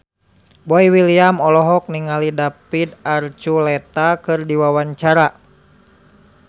Boy William olohok ningali David Archuletta keur diwawancara